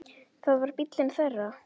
Það var bíllinn þeirra.